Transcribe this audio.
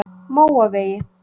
Móavegi